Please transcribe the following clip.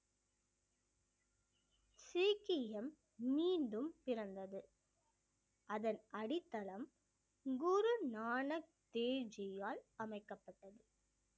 சீக்கியம் மீண்டும் பிறந்தது அதன் அடித்தளம் குரு நானக் தேவ் ஜியால் அமைக்கப்பட்டது